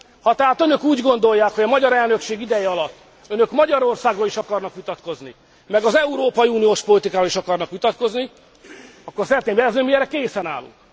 Ha tehát önök úgy gondolják, hogy a magyar elnökség ideje alatt önök Magyarországról is akarnak vitatkozni, meg az európai uniós politikáról is akarnak vitatkozni, akkor szeretném jelezni, hogy mi erre készen állunk.